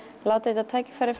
látið þetta tækifæri